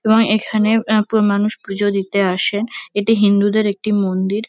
এবং এখানে এ-এ মানুষ পুজো দিতে আসে এটি হিন্দুদের একটি মন্দির।